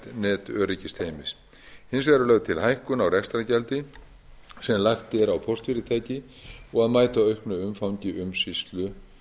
netöryggisteymis hins vegar er lögð til hækkun á rekstrargjaldi sem lagt er á póstfyrirtæki og að mæta auknu umfangi umsýslu